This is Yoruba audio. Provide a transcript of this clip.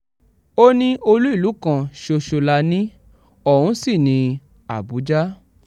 ó ní olú ìlú kan ṣoṣo la ní ọ̀hún sí ní àbújá